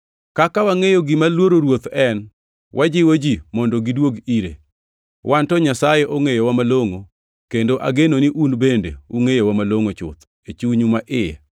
Kaka wangʼeyo gima luoro Ruoth en, wajiwo ji mondo gidwog ire. Wan to Nyasaye ongʼeyowa malongʼo, kendo ageno ni un bende ungʼeyowa malongʼo chuth e chunyu maiye.